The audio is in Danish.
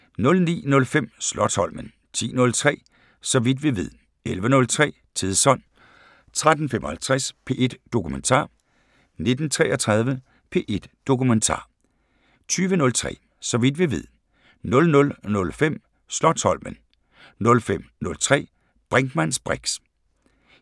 09:05: Slotsholmen 10:03: Så vidt vi ved 11:03: Tidsånd 13:33: P1 Dokumentar 19:33: P1 Dokumentar 20:03: Så vidt vi ved 00:05: Slotsholmen 05:03: Brinkmanns briks